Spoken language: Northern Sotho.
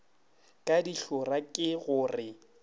ka dihlora ke go re